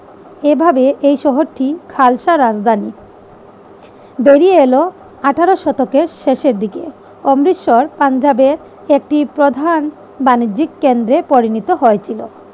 এভাবে এই শহরটি খালসা রাজধানী বেরিয়ে এলো আঠেরো শতকের শেষের দিকে। অমৃতসর পাঞ্জাবের একটি প্রধান বাণিজ্যিক কেন্দ্রে পরিণত হয়েছিল।